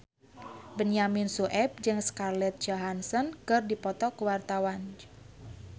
Benyamin Sueb jeung Scarlett Johansson keur dipoto ku wartawan